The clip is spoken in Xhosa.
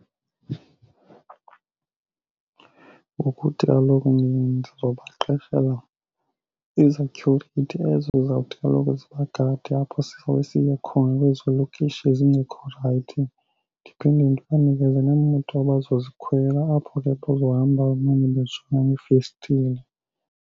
Ngokuthi kaloku mna ndizobaqeshela izathyurithi ezo zizawuthi kaloku zibagade apho sifanele siye khona kwezo lokishi ezingekho right. Ndiphinde ndiba nikeze neemoto abazozikhwela apho ke bazohamba bamane bejonga ngeefestire.